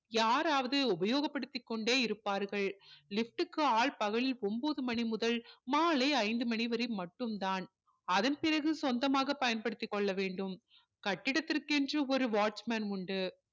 யாராவது உபயோக படுத்தி கொண்டே இருப்பார்கள் lift க்கு ஆள் காவல் ஒன்பது மணி முதல் மாலை ஐந்து மணி வரை மட்டும் தான் அதன் பிறகு சொந்தமாக பயன்படுத்திக் கொள்ள வேண்டும் கட்டிடத்திற்கு என்று ஒரு watchman உண்டு